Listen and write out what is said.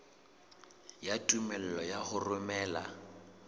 ya tumello ya ho romela